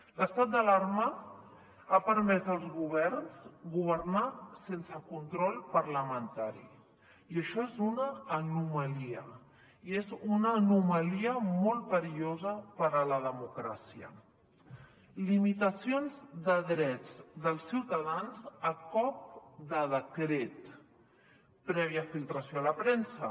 l’estat d’alarma ha permès als governs governar sense control parlamentari i això és una anomalia i és una anomalia molt perillosa per a la democràcia limitacions de drets dels ciutadans a cop de decret prèvia filtració a la premsa